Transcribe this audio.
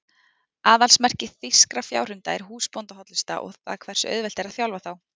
Aðalsmerki þýskra fjárhunda er húsbóndahollusta og það hversu auðvelt er að þjálfa þá.